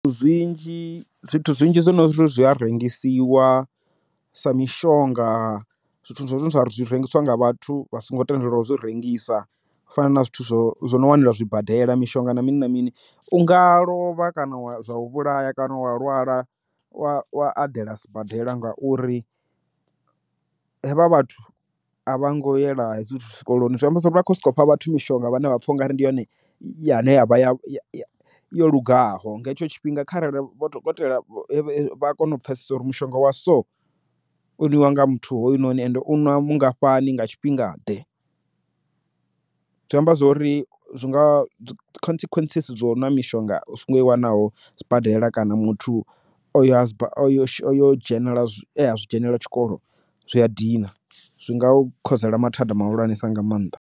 Zwinzhi zwithu zwinzhi zwine zwi a rengisiwa sa mishonga zwithu zwa rengisiwa nga vhathu vha songo tendeliwa ho uzwi rengisa fana na zwithu zwo no wanela zwibadela mishonga na mini na mini u nga lovha kana zwa u vhulaya kana wa lwala wa a dela sibadela ngauri hevha vhathu a vha ngo yela hedzi zwithu zwikoloni zwi amba zwori vha kho soko fha vhathu mishonga vhane vha pfha u nga ri ndi yone ine ya vha yo lugaho nga hetsho tshifhinga kharali dokotela a kone u pfesesa uri mushonga wa so u ni wanga muthu hoyunoni ende u ṅwa mungafhani nga tshifhinga ḓe zwi amba zwori zwi nga consequence zwo nwa mishonga i wanaho sibadela kana muthu oyo s yo dzhenelela zwi dzhenela tshikolo zwi a dina zwi nga u khosela mathada muhulwanesa nga maanḓa.